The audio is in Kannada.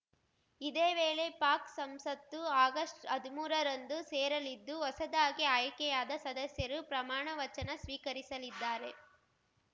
ಇದೇ ವೇಳೆ ಪಾಕ್‌ ಸಂಸತ್ತು ಆಗಸ್ಟ್ಹದ್ಮೂರರಂದು ಸೇರಲಿದ್ದು ಹೊಸದಾಗಿ ಆಯ್ಕೆಯಾದ ಸದಸ್ಯರು ಪ್ರಮಾಣವಚನ ಸ್ವೀಕರಿಸಲಿದ್ದಾರೆ